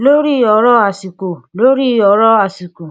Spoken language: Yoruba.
lóri ọrọ àsìkò lóri ọrọ àsìkò